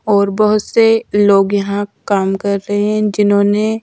और बहुत से लोग यहां काम कर रहे हैं जिन्होंने।--